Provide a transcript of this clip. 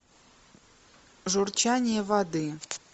журчание воды